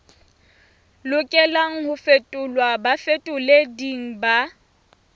lokelang ho fetolelwa bafetoleding ba